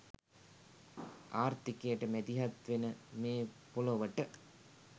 ආර්ථිකයට මැදිහත් වෙන මේ ‍පොළොවට